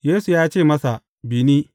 Yesu ya ce masa, Bi ni.